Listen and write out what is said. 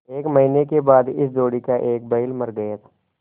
एक महीने के बाद इस जोड़ी का एक बैल मर गया